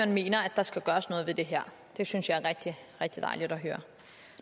mener at der skal gøres noget ved det her det synes jeg er rigtig rigtig dejligt at høre